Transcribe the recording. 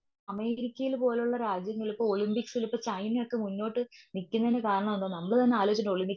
അമേരിക്കയിലെ പോലുള്ള രാജ്യങ്ങൾക്ക് ഒളിമ്പിക്സിലേക്ക്. ചൈനയൊക്കെ മുന്നോട്ട് നിക്കുന്നേനു കാരണമാണ്. നമ്മളുതന്നെ ആലോചിച്ചുട്ടുണ്ട്.